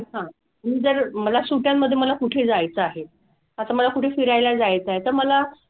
हां. मी जर मला सुट्ट्यांमध्ये मला कुठे जायचं आहे. आता मला कुठे फिरायला जायचं आहे तर मला,